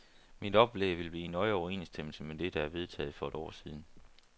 Mit oplæg vil blive i nøje overensstemmelse med det, der er vedtaget for et år siden.